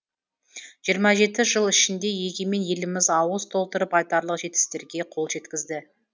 жиырма жеті жыл ішінде егемен еліміз ауыз толтырып айтарлық жетістіктерге қол жеткізді